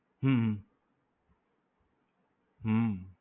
હમ હમ